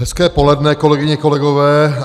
Hezké poledne, kolegyně, kolegové.